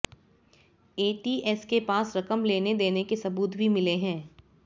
ATS के पास रकम लेन देन के सबूत भी मिले हैं